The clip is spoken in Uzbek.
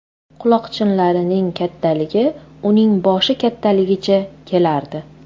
Quloqchinlarning kattali uning boshi kattaligicha kelardi.